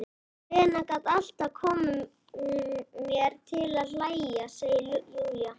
Lena gat alltaf komið mér til að hlæja, segir Júlía.